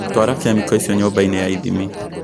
Twara kemical icio nyũmba-inĩ ya ithimi